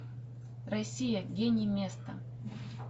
россия гений места